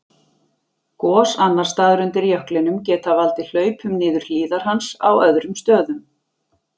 Gos annars staðar undir jöklinum geta valdið hlaupum niður hlíðar hans á öðrum stöðum.